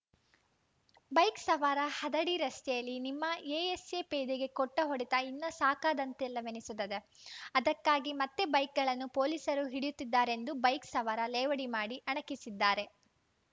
bike ಸವಾರ ಹದಡಿ ರಸ್ತೆಯಲ್ಲಿ ನಿಮ್ಮ ಎಎಸ್‌ಎ ಪೇದೆಗೆ ಕೊಟ್ಟಹೊಡೆತ ಇನ್ನಾ ಸಾಕಾದಂತಿಲ್ಲವೆನಿಸುತ್ತದೆ ಅದಕ್ಕಾಗಿ ಮತ್ತೆ ಬೈಕ್‌ಗಳನ್ನು ಪೊಲೀಸರು ಹಿಡಿಯುತ್ತಿದ್ದಾರೆಂದು ಬೈಕ್‌ ಸವಾರ ಲೇವಡಿ ಮಾಡಿ ಅಣಕಿಸಿದ್ದಾರೆ